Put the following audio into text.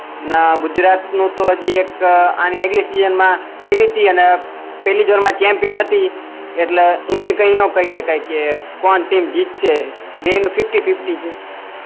નાં ગુજરાત નું તો હજી એક મા પેહલી દોડ મા ચેમ્પિયન હતી એટલે ઈને કઈ ના કહીએ કઈ કે કોણ ટીમ જીતશે બેય નું ફિફ્ટી ફિફ્ટી